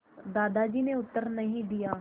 दादाजी ने उत्तर नहीं दिया